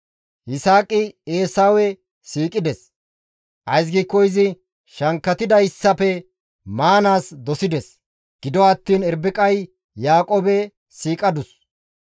Yisaaqi Eesawe siiqides; ays giikko izi shankkatidayssafe maanaas dosides; gido attiin Irbiqay Yaaqoobe siiqadus.